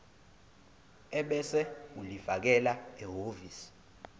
ebese ulifakela ehhovisi